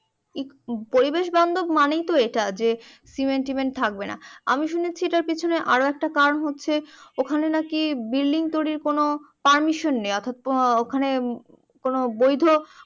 এই পরিবেশ বান্ধব মানেই তো হচ্ছে ইটা যে সিমেন্ট টমেন্ট থাকবেনা আমি শুনেছি যে এটার পিছনে আরও একটা কারণ হচ্ছে যে ওখানে নাকি বিল্ডিং তৈরির কোনো পারমিশন নেই অর্থাৎ কোনো বৈধ